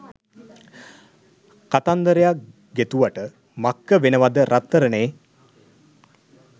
කතන්දරයක් ගෙතුවට මක්ක වෙනවද රත්තරනේ?